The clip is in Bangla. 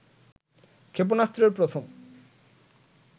ক্ষেপণাস্ত্রের প্রথম